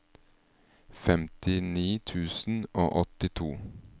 femtini tusen og åttito